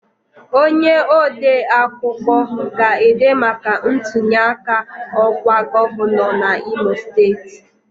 Onye odeakụkọ ga-ede maka ntunyeaka ọkwa gọvanọ n'Imo Steeti